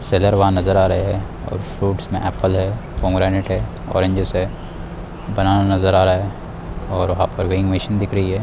Seller वहां नजर आ रहे हैं और फ्रूटस में एप्पल है पोमोग्रेनेट है ऑरेंजिस है बनाना नजर आ रहा है और वहां पर मशीन दिख रही है।